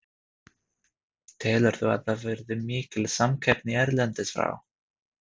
Telurðu að það verði mikil samkeppni erlendis frá?